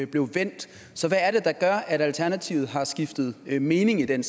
blev vendt så hvad er det der gør at alternativet har skiftet mening i den